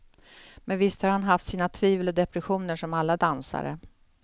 Men visst har han haft sina tvivel och depressioner som alla dansare.